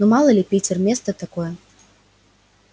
ну мало ли питер место такое